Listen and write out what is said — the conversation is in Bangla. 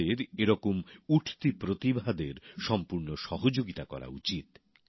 আমাদের এরকম উঠতি প্রতিভাদের সম্পুর্ন সহযোগিতা করা উচিৎ